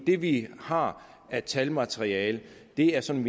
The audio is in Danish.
det vi har af talmateriale er sådan